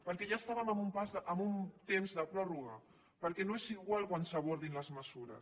perquè ja estàvem en un temps de pròrroga perquè no és igual quan s’abordin les mesures